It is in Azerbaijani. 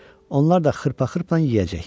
Onlar da xırpa-xırpa yeyəcək.